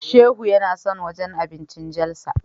Shehu yana son wajen abincin Jalsa.